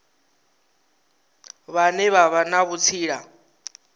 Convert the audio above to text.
vhane vha vha na vhutsila